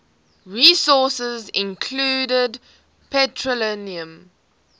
resources include petroleum